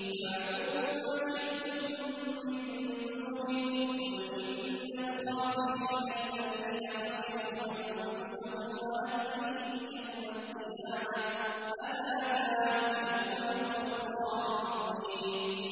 فَاعْبُدُوا مَا شِئْتُم مِّن دُونِهِ ۗ قُلْ إِنَّ الْخَاسِرِينَ الَّذِينَ خَسِرُوا أَنفُسَهُمْ وَأَهْلِيهِمْ يَوْمَ الْقِيَامَةِ ۗ أَلَا ذَٰلِكَ هُوَ الْخُسْرَانُ الْمُبِينُ